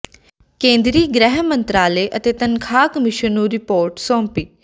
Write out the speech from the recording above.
ਕੇਂਦਰੀ ਗ੍ਰਹਿ ਮੰਤਰਾਲੇ ਅਤੇ ਤਨਖਾਹ ਕਮਿਸ਼ਨ ਨੂੰ ਰਿਪੋਰਟ ਸੌਂਪੀ